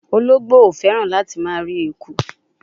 Ologbo o feran lati ma ri ekun